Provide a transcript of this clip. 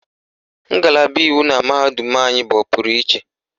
Ngalaba iwu na mahadum anyị bụ ọpụrụ iche.